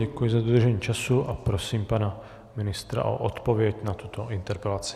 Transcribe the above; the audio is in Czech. Děkuji za dodržení času a prosím pana ministra o odpověď na tuto interpelaci.